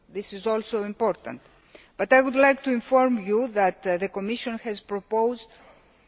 this is also important. I would like to inform you that the Commission has proposed EUR